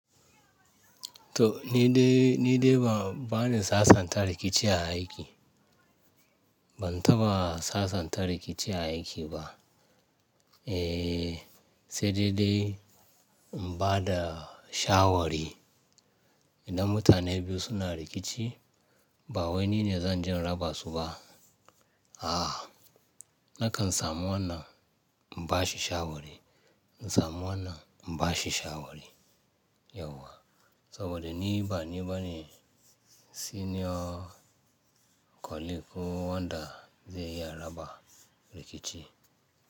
To ni dai, ni dai ba, ba ni sasanta rikici a aiki. Ban taɓa sasanta rikici a aiki ba. Eh, sai dai dai in ba da shawari. Idan mutane biyu suna rikici, ba wai ni ne zan je raba su ba. A'a, na kan samu wannan in ba shi shawari, in samu wannan in ba shi shawari yauwa. Saboda ni ba ni bane senior colleague wanda zai iya raba rikici.